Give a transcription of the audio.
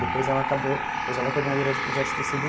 Depois ela acabou, hoje ela é coordenadora de projetos do cê dê i.